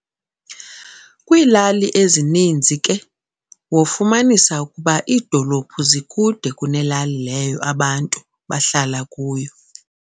kwilali ezininzi ke wofumanisa ukuba iidolophu zikude kunelali leyo abantu bahlala kuyo.